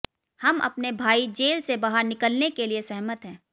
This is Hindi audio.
हम अपने भाई जेल से बाहर निकलने के लिए सहमत हैं